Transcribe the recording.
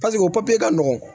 paseke o papiye ka nɔgɔn